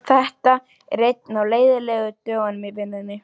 Þetta er einn af leiðinlegu dögunum í vinnunni.